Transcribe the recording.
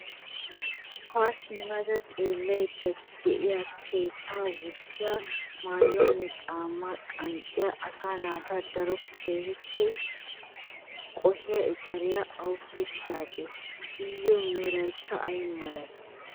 Haa simmada xeellayidda diya kattaa wurssiya, mayyuwaanne caammay qanxxiya asaa naata daro qohiya eceriyaa awuppe kiyadee? Iyyoo merayikka ay malee?